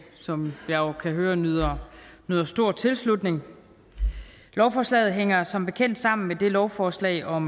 som jeg jo kan høre nyder nyder stor tilslutning lovforslaget hænger som bekendt sammen med det lovforslag om